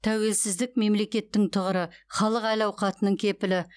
тәуелсіздік мемлекеттің тұғыры халық әл ауқатының кепілі